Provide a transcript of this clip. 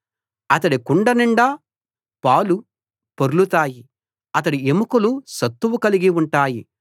అతడి కుండ నిండా పాలు పొర్లుతాయి అతడి ఎముకలు సత్తువ కలిగి ఉంటాయి